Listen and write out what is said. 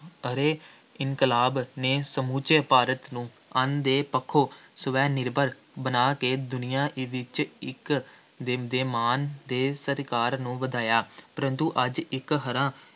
ਹਰੇ ਇਨਕਲਾਬ ਨੇ ਸਮੁੱਚੇ ਭਾਰਤ ਨੂੰ ਅੰਨ ਦੇ ਪੱਖੋਂ ਸਵੈ-ਨਿਰਭਰ ਬਣਾ ਕੇ ਦੁਨੀਆ ਦੇ ਵਿੱਚ ਇੱਕ ਦੇਸ਼ ਦੇ ਮਾਣ ਅਤੇ ਸਤਿਕਾਰ ਨੂੰ ਵਧਾਇਆ, ਪਰੰਤੂ ਅੱਜ ਇੱਕ ਹਰਾ